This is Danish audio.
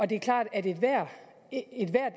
det er klart at ethvert